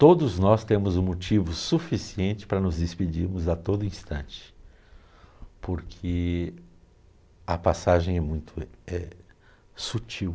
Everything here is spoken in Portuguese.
Todos nós temos um motivo suficiente para nos despedirmos a todo instante, porque a passagem é muito é sutil.